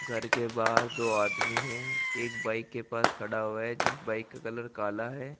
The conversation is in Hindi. घर के बाहर दो आदमी है एक बाईक के पास खड़ा हुआ है जिस बाईक का कलर काला है।